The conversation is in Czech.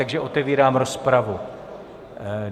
Takže otevírám rozpravu.